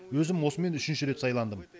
өзім осымен үшінші рет сайландым